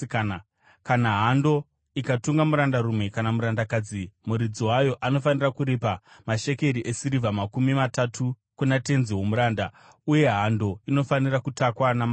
Kana hando ikatunga murandarume kana murandakadzi, muridzi wayo anofanira kuripa mashekeri esirivha makumi matatu kuna tenzi womuranda, uye hando inofanira kutakwa namabwe.